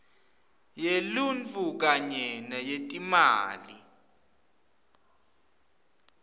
yeluntfu kanye neyetimali